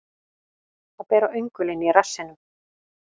Að bera öngulinn í rassinum